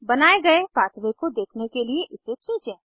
बनाये गए पाथवे को देखने के लिए इसे खींचें